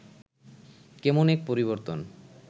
কেমন এক পরিবর্তন